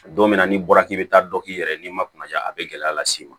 Don min na n'i bɔra k'i bɛ taa dɔ k'i yɛrɛ ye ni ma kunnaja a bɛ gɛlɛya las'i ma